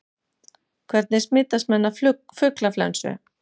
Hvernig smitast menn af fuglaflensu?